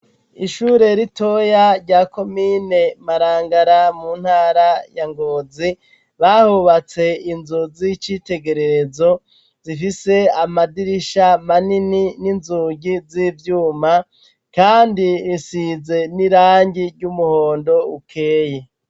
Ishure ritoya rya komine marangara mu ntara ya ngozi bahubatse inzu z'icitegerezo zifise amadirisha manini n'inzugi z'ivyuma kandi risize n'irangi ry'umuhondo ukeye.